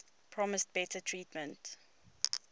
promised better treatment